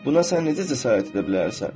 Buna sən necə cəsarət edə bilərsən?